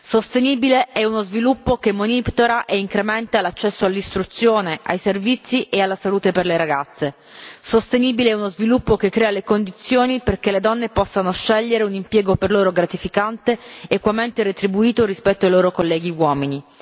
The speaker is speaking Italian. Sostenibile è uno sviluppo che monitora e incrementa l'accesso all'istruzione, ai servizi e alla salute per le ragazze, sostenibile è uno sviluppo che crea le condizioni perché le donne possono scegliere un impiego per loro gratificante ed equamente retribuito rispetto ai loro colleghi uomini.